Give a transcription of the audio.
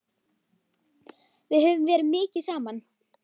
Við höfum verið mikið saman.